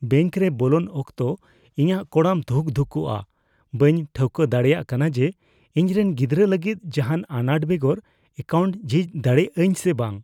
ᱵᱮᱝᱠᱨᱮ ᱵᱚᱞᱚᱱ ᱚᱠᱛᱚ, ᱤᱧᱟᱹᱜ ᱠᱚᱲᱟᱢ ᱫᱷᱩᱠᱼᱫᱷᱩᱠᱩᱜᱼᱟ, ᱵᱟᱹᱧ ᱴᱷᱟᱹᱣᱠᱟᱹ ᱫᱟᱲᱮᱭᱟᱜ ᱠᱟᱱᱟ ᱡᱮ ᱤᱧᱨᱮᱱ ᱜᱤᱫᱽᱨᱟᱹ ᱞᱟᱹᱜᱤᱫ ᱡᱟᱦᱟᱱ ᱟᱱᱟᱴ ᱵᱮᱜᱚᱨ ᱮᱠᱟᱣᱩᱱᱴ ᱡᱷᱤᱡ ᱫᱟᱲᱮᱭᱟᱜ ᱟᱹᱧ ᱥᱮ ᱵᱟᱝ ᱾